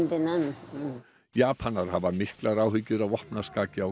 Japanar hafa haft miklar áhyggjur af vopnaskaki á